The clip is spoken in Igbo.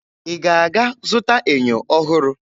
Ị ga-aga zụta ènyò ọhụrụ?